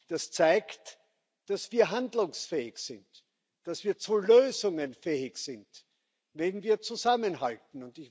Das zeigt, dass wir handlungsfähig sind, dass wir zu Lösungen fähig sind, wenn wir zusammenhalten.